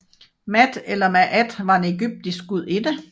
Maat eller Maàt var en egyptisk gudinde